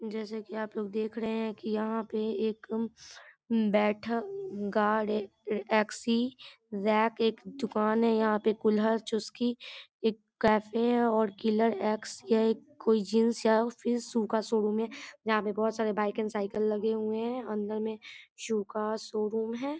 जैसा की आप लोग देख रहे है की यहाँ पे एक बैठा गार्ड है एक-सी-जेक एक दुकान है यहाँ पे कुल्हड़ चुस्की एक कैफ़े है और किलर एक्स यह एक कोई जीन्स या फिर शू का शो-रूम है | यहाँ पे बहुत सारे बाइक और साइकिल लगे हुए है अंदर मे शू का शो-रूम है ।